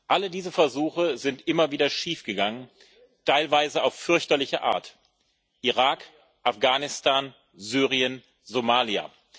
Alle diese Versuche sind immer wieder schiefgegangen, teilweise auf fürchterliche Art Irak, Afghanistan, Syrien, Somalia.